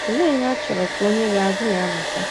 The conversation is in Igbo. ’ Olee ihe a chọrọ ka onye ga - agụ ya mụta? ’